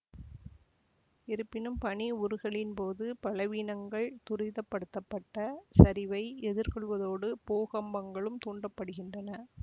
இருப்பினும் பனி உருகலின்போது பலவீனங்கள் துரிதப்படுத்தப்பட்ட சரிவை எதிர்கொள்வதோடு பூகம்பங்களும் தூண்ட படுகின்றன